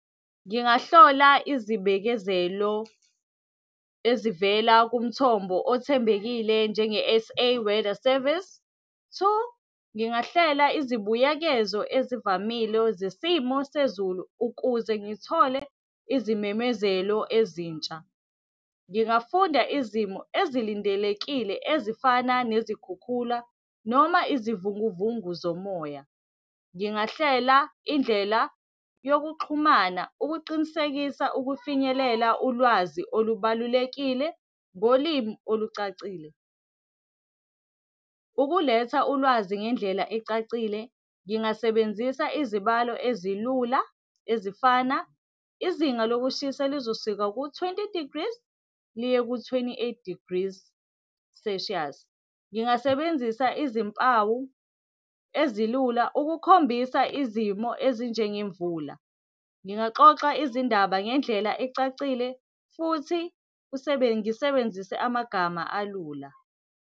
Ngingahlola izibekezelo ezivela kumthombo othembekile njenge-S_A Weather Service. Two, ngingahlela izibuyekezo ezivamile zesimo sezulu ukuze ngithole izimemezelo ezintsha. Ngingafunda izimo ezilindelekile ezifana nezikhukhula noma izivunguvungu zomoya. Ngingahlela indlela yokuxhumana ukuqinisekisa ukufinyelela ulwazi olubalulekile ngolimi olucacile. Ukuletha ulwazi ngendlela ecacile, ngingasebenzisa izibalo ezilula ezifana, izinga lokushisa lizosuka ku-twenty degrees liye ku-twenty-eight degrees celsius. Ngingasebenzisa izimpawu ezilula ukukhombisa izimo ezinjengemvula. Ngingaxoxa izindaba ngendlela ecacile futhi ngisebenzise amagama alula.